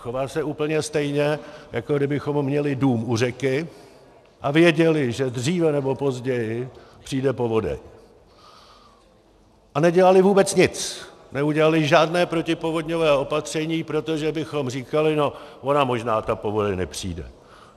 Chová se úplně stejně, jako kdybychom měli dům u řeky a věděli, že dříve nebo později přijde povodeň, a nedělali vůbec nic, neudělali žádné protipovodňové opatření, protože bychom říkali: No ona možná ta povodeň nepřijde.